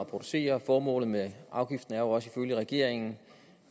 at producere formålet med afgiften er jo også ifølge regeringen